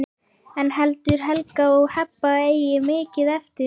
En heldur Helga að Heba eigi mikið eftir?